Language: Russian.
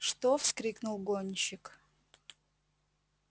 что вскрикнул гонщик